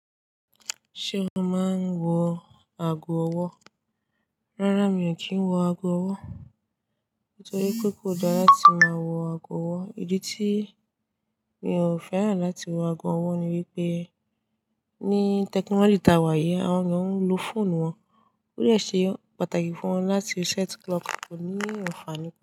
Ṣé o máa ń wo ago ọwọ́? Rárá, mi ò kí ń wọ ago ọwọ́. Nítorí pé kò dára láti máa wọ ago ọwọ́. Ìdí tí mi ò fẹ́ràn láti wọ ago ọwọ́ ni wípé, ní technology tá wà yìí, àwọn ènìyàn ń lo fóònù wọn. Ó yẹ ṣe pàtàkì fún wọn láti reset clock kò ní ìfàànú kan.